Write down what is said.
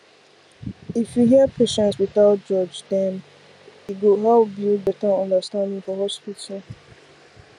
if you hear patients without judge dem e go help build better understanding for hospital